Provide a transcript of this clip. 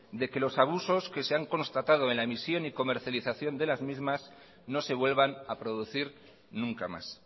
de que los abusos que se han constatado en la emisión y comercialización de las mismas no se vuelvan a producir nunca más